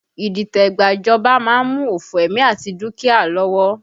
Idite gba ìjọba má ń mú òfo ẹ̀mí àti dúkìá lọ́wọ́